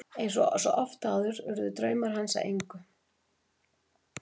En eins og svo oft áður urðu draumar hans að engu.